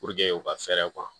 u ka fɛɛrɛ